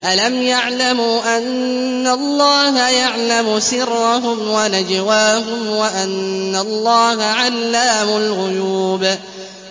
أَلَمْ يَعْلَمُوا أَنَّ اللَّهَ يَعْلَمُ سِرَّهُمْ وَنَجْوَاهُمْ وَأَنَّ اللَّهَ عَلَّامُ الْغُيُوبِ